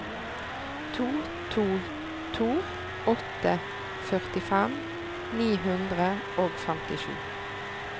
to to to åtte førtifem ni hundre og femtisju